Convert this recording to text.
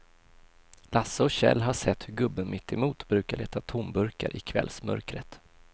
Lasse och Kjell har sett hur gubben mittemot brukar leta tomburkar i kvällsmörkret.